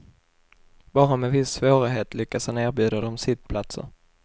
Bara med viss svårighet lyckas han erbjuda dem sittplatser.